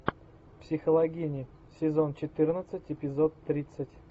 психологини сезон четырнадцать эпизод тридцать